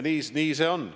Nii see on.